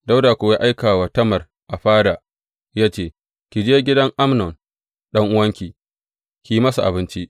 Dawuda kuwa ya aika wa Tamar a fada, ya ce, Ki je gidan Amnon ɗan’uwanki, ki yi masa abinci.